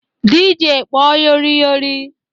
DJ kpọọ Yori Yori!